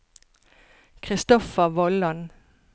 Christoffer Vollan